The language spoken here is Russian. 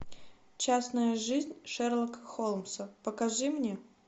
частная жизнь шерлока холмса покажи мне